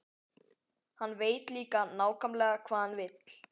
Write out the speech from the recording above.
Hann veit líka nákvæmlega hvað hann vill.